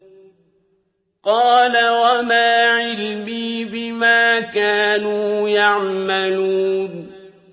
قَالَ وَمَا عِلْمِي بِمَا كَانُوا يَعْمَلُونَ